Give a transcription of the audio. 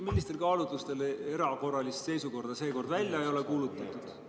Millistel kaalutlustel erakorralist seisukorda seekord välja ei ole kuulutatud?